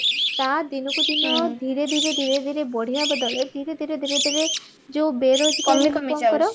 ତା ଦିନକୁ ଦିନ ଧୀରେ ଧୀରେ ଧୀରେ ଧୀରେ ବଢିବା ବଦଳରେ ଧୀରେ ଧୀରେ ଧୀରେ ଧୀରେ ଯୋଉ ବେରୋଜଗାର ଲୋକଙ୍କର